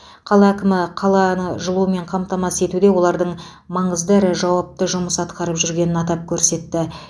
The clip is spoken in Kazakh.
қала әкімі қаланы жылумен қамтамасыз етуде олардың маңызды әрі жауапты жұмыс атқарып жүргенін атап көрсетті